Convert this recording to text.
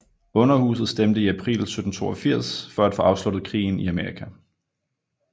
Underhuset stemte i april 1782 for at få afsluttet krigen i Amerika